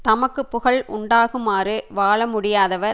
தமக்கு புகழ் உண்டாகுமாறு வாழ முடியாதவர்